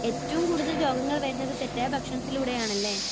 ഏറ്റവും കൂടുതൽ രോഗങ്ങൾ വരുന്നത് തെറ്റായ ഭക്ഷണത്തിലൂടെയാണല്ലേ?